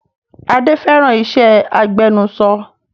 Adé fẹ́ràn iṣẹ́ agbẹnuṣọ